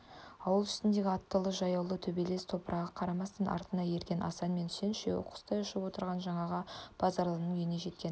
ауыл үстіндегі аттылы-жаяулы төбелес-топырға қарамастан артына ерген асан мен үсен үшеуі құстай ұшып отырып жаңағы базаралының үйіне жеткен